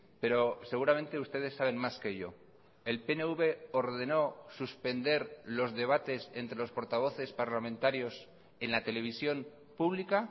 pero seguramente ustedes saben más que yo el pnv ordeno suspender los debates entre los portavoces parlamentarios en la televisión pública